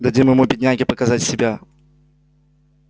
дадим ему бедняге показать себя